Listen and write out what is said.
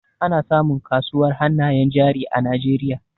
Ana samun kasuwar hannayen jari a Najeriay